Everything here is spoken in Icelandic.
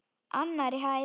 Annarri hæð.